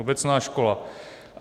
Obecná škola.